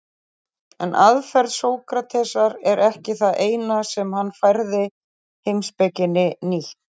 En aðferð Sókratesar er ekki það eina sem hann færði heimspekinni nýtt.